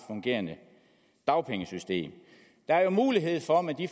fungerende dagpengesystem der er jo mulighed for med de